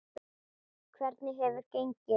Hvernig hefur gengið?